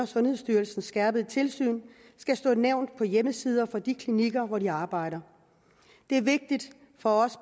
sundhedsstyrelsens skærpede tilsyn skal stå nævnt på hjemmesider for de klinikker hvor de arbejder det er vigtigt for os